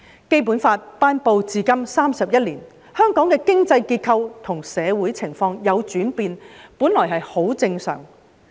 《基本法》頒布至今31年，香港的經濟結構和社會情況有轉變，本來很正常。